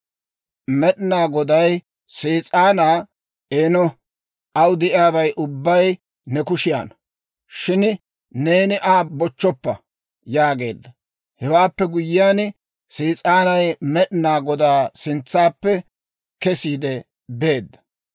Med'inaa Goday Sees'aanaa, «Eeno, aw de'iyaabay ubbay ne kushiyaanna. Shin neeni Aa bochchoppa» yaageedda. Hewaappe guyyiyaan, Sees'aanay Med'inaa Godaa sintsaappe kesiide beedda.